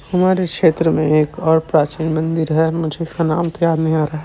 हमारे क्षेत्र में एक और प्राचीन मंदिर है मुझे उसका नाम तो याद नहीं आ रहा--